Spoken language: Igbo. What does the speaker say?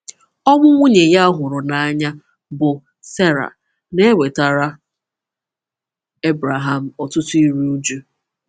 Ọnwụ nwunye ya ọ hụrụ n’anya, bụ́ Sera, na-ewetara Ebreham ọtụtụ iru uju.